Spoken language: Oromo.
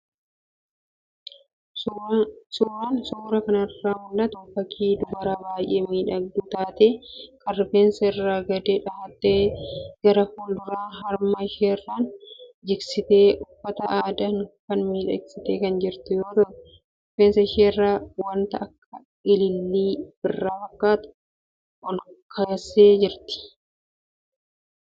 Suuraan suuraa kanarraa mul'atu fakii dubara baay'ee miidhagduu taatee kan rifeensa irraan gadee dhahattee gara fuul-dura harma isheerraan jigsitee, uffata aadaan of miidhagsitee kan jirtu yoo ta'u, rifeensa isheerra wanta akka ilillii birraa fakkaatu olkeessee jirti.